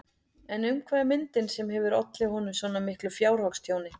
En um hvað er myndin sem hefur ollið honum svo miklu fjárhagstjóni?